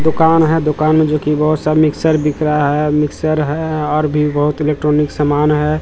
दुकान है दुकान में जो कि बहुत सारे मिक्सर बिक रहा है मिक्सर है और भी बहुत इलेक्ट्रॉनिक सामान है।